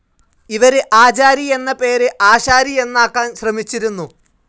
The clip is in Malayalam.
ഇവര് ആചാരി എന്ന പേര് ആശാരി എന്നാക്കാൻ ശ്രമിച്ചിരുന്നു.